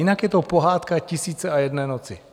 Jinak je to pohádka tisíce a jedné noci.